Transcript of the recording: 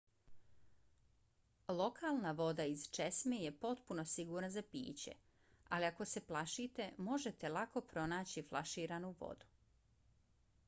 lokalna voda iz česme je potpuno sigurna za piće ali ako se plašite možete lako pronaći flaširanu vodu